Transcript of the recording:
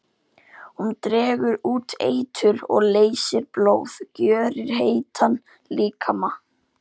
Hún dregur út eitur og leysir blóð, gjörir heitan líkama.